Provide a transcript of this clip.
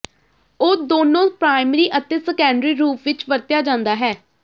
ਉਹ ਦੋਨੋ ਪ੍ਰਾਇਮਰੀ ਅਤੇ ਸੈਕੰਡਰੀ ਰੂਪ ਵਿੱਚ ਵਰਤਿਆ ਜਾਦਾ ਹੈ